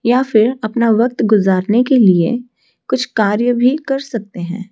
या फिर अपना वक्त गुजारने के लिए कुछ कार्य भी कर सकते हैं।